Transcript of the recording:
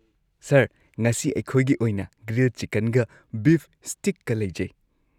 Sir, ꯉꯁꯤ ꯑꯩꯈꯣꯏꯒꯤ ꯑꯣꯏꯅ ꯒ꯭ꯔꯤꯜꯗ ꯆꯤꯀꯟꯒ ꯕꯤꯐ ꯁ꯭ꯇꯤꯛꯀ ꯂꯩꯖꯩ꯫